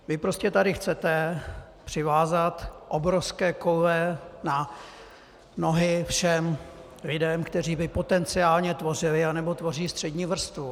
Vy prostě tady chcete přivázat obrovské koule na nohy všem lidem, kteří by potenciálně tvořili nebo tvoří střední vrstvu.